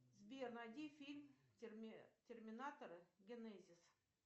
сбер найди фильм терминатор генезис